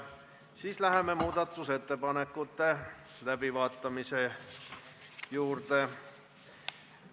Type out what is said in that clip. Siis läheme muudatusettepanekute läbivaatamise juurde.